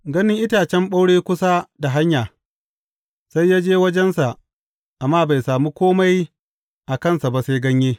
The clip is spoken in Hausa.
Ganin itacen ɓaure kusa da hanya, sai ya je wajensa amma bai sami kome a kansa ba sai ganye.